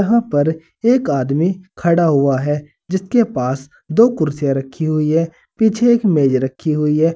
यहां पर एक आदमी खड़ा हुआ है जिसके पास दो कुर्सियां रखी हुई है पीछे एक मेज रखी हुई है।